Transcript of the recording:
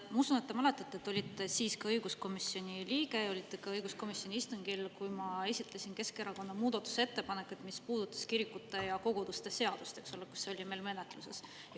Ma usun, et te mäletate, et te olite siis kui õiguskomisjoni liige, olite ka õiguskomisjoni istungil, kui ma esitasin Keskerakonna muudatusettepanekut, mis puudutas kirikute ja koguduste seadust, eks ole, mis oli meil menetluses.